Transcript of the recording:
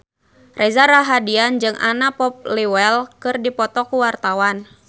Reza Rahardian jeung Anna Popplewell keur dipoto ku wartawan